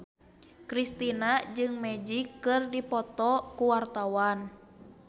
Kristina jeung Magic keur dipoto ku wartawan